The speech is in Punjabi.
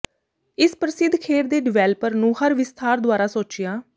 ਇਸ ਪ੍ਰਸਿੱਧ ਖੇਡ ਦੇ ਡਿਵੈਲਪਰ ਨੂੰ ਹਰ ਵਿਸਥਾਰ ਦੁਆਰਾ ਸੋਚਿਆ